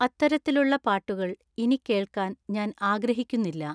അത്തരത്തിലുള്ള പാട്ടുകള്‍ ഇനി കേൾക്കാൻ ഞാൻ ആഗ്രഹിക്കുന്നില്ല